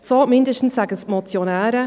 So mindestens sagen es die Motionäre.